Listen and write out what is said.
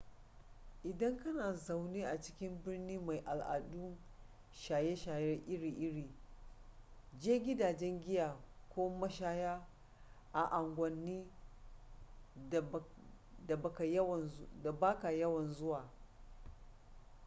idan kana zaune a cikin birni mai al'adun shaye-shaye iri-iri je gidajen giya ko mashaya a unguwannin da ba ka yawan zuwa